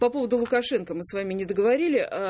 по поводу лукашенко мы с вами не договорили ээ